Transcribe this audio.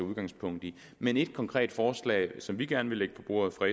udgangspunkt i men et konkret forslag som vi gerne vil lægge på bordet fra